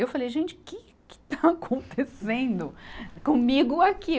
Eu falei, gente, que que está acontecendo comigo aqui?